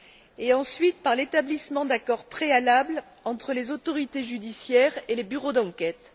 et ensuite par l'établissement d'accords préalables entre les autorités judiciaires et les bureaux d'enquête.